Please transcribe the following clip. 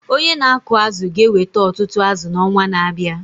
Onye na-akụ azụ̀ ga-eweta ọtụtụ azụ̀ n’ọnwa na-abịa.